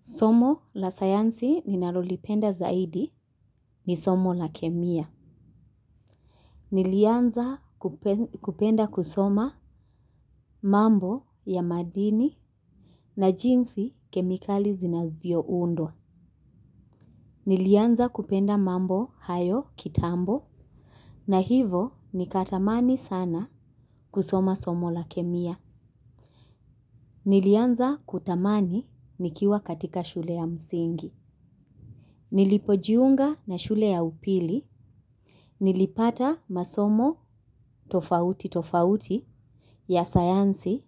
Somo la sayansi ninalolipenda zaidi ni somo la kemia. Nilianza kupenda kusoma mambo ya madini na jinsi kemikali zinazvio undwa. Nilianza kupenda mambo hayo kitambo na hivo nikatamani sana kusoma somo la kemia. Nilianza kutamani nikiwa katika shule ya msingi. Nilipojiunga na shule ya upili. Nilipata masomo tofauti tofauti ya sayansi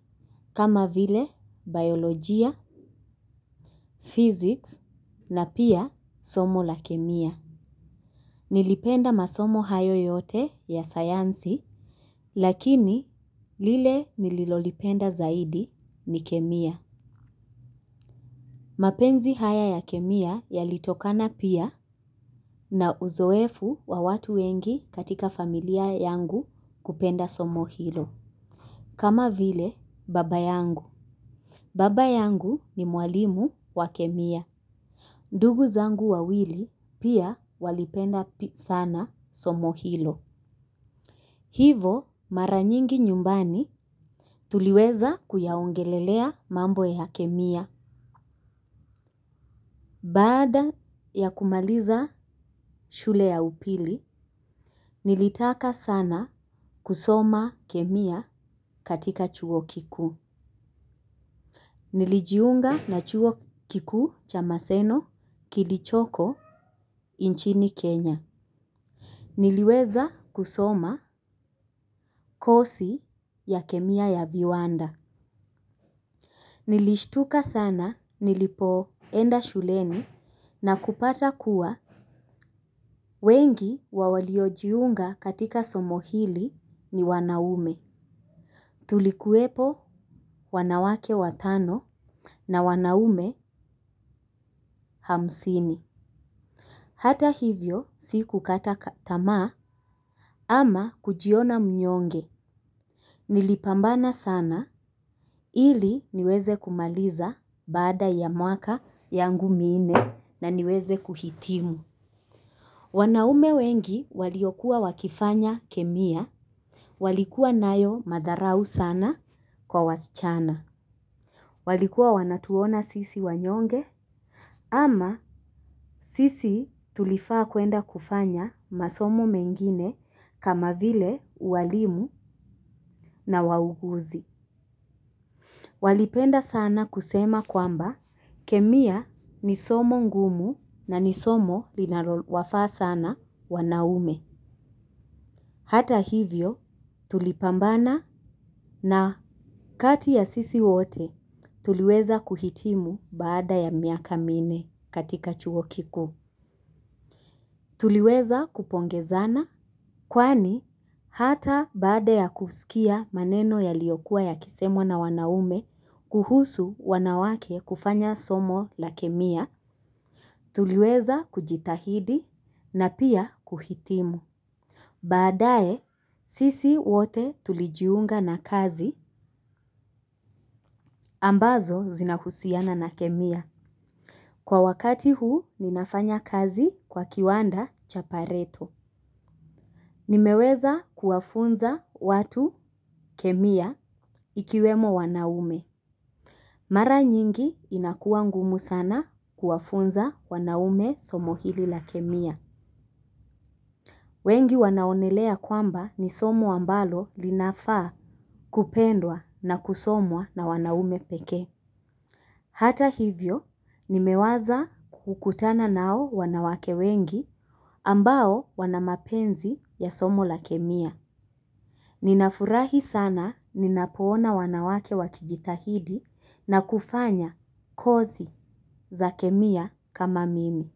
kama vile biolojia, fiziks na pia somo la kemia. Nilipenda masomo hayo yote ya sayansi lakini lile nililolipenda zaidi ni kemia. Mapenzi haya ya kemia yalitokana pia na uzoefu wa watu wengi katika familia yangu kupenda somo hilo. Kama vile baba yangu. Baba yangu ni mwalimu wa kemia. Ndugu zangu wa wili pia walipenda sana somohilo. Hivo mara mingi njyumbani tuliweza kuyaongelelea mambo ya kemia. Baada ya kumaliza shule ya upili, nilitaka sana kusoma kemia katika chuo kikuu. Nilijiunga na chuo kiku cha maseno kilichoko inchini Kenya. Niliweza kusoma kosi ya kemia ya viwanda. Nilishtuka sana nilipo enda shuleni na kupata kuwa. Wengi wawaliojiunga katika somo hili ni wanaume. Tulikuwepo wanawake watano na wanaume hamsini. Hata hivyo si kukata tamaa ama kujiona mnyonge. Nilipambana sana ili niweze kumaliza bada ya mwaka yangu mine na niweze kuhitimu. Wanaume wengi waliokuwa wakifanya kemia. Walikuwa nayo madharau sana kwa wasichana. Walikuwa wanatuona sisi wanyonge ama sisi tulifaa kwenda kufanya masomo mengine kama vile uwalimu na wauguzi. Walipenda sana kusema kwamba kemia ni somo ngumu na ni somo lina wafaa sana wanaume. Hata hivyo tulipambana na kati ya sisi wote tuliweza kuhitimu baada ya miaka minne katika chuokikuu. Tuliweza kupongezana, kwani hata bade ya kusikia maneno ya liyokuwa ya kisemwa na wanaume kuhusu wanawake kufanya somo la kemia, tuliweza kujitahidi na pia kuhitimu. Baadae, sisi wote tulijiunga na kazi, ambazo zinahusiana na kemia. Kwa wakati huu, ninafanya kazi kwa kiwanda chapareto. Nimeweza kuwafunza watu kemia ikiwemo wanaume. Mara nyingi inakuwa ngumu sana kuwafunza wanaume somo hili la kemia. Wengi wanaonelea kwamba ni somo ambalo linafa kupendwa na kusomwa na wanaume peke. Hata hivyo, nimewaza kukutana nao wanawake wengi ambao wanamapenzi ya somo la kemia. Ninafurahi sana ninapoona wanawake wakijitahidi na kufanya kozi za kemia kama mimi.